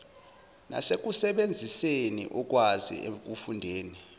nasekusebenziseni ukwazi ekufundeni